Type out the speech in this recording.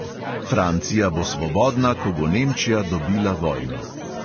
Francija bo svobodna, ko bo nemčija dobila vojno.